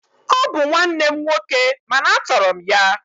Ọ bụ nwanne m nwoke mana a tọrọ m ya